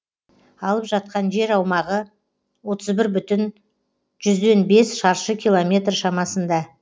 алып жатқан жер аумағы отыз бір бүтін жүзден бес шаршы километр шамасында